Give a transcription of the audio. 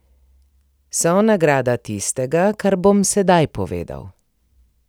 So nagrada tistega, kar bom sedaj povedal.